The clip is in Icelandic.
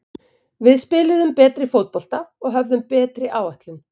Við spiluðum betri fótbolta og höfðum betri áætlun.